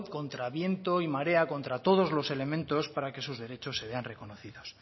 contra viento y marea contra todos los elementos para que sus derechos se vean reconocidos